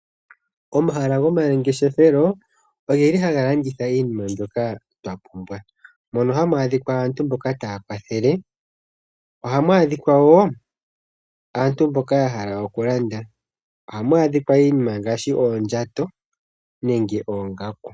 Omahala gomangeshefelo ogeli haga landitha iinima mbyoka twa pumbwa, mono hamu adhikwa aantu mboka taya kwathel, ohamu adhikwa wo aantu mboka ya hala okulanda ohamu, adhikwa iinima ngaashi oondjato nenge oongaku.